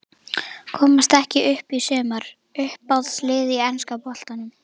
Komast ekki upp í sumar Uppáhalds lið í enska boltanum?